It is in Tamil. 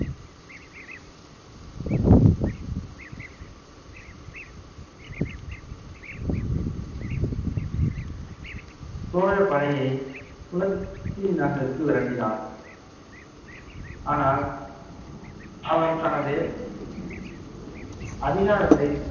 சோழப் படையை புலத்திநகருக்கு விரட்டினான். ஆனால் அவர் தனது அதிகாரத்தை